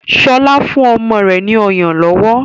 Shola ń fún ọmọ rẹ ní ọyàn lówó.